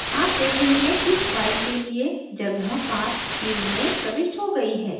आप देखेंगे कि file के लिए जगहpath field में प्रविष्ट हो गई है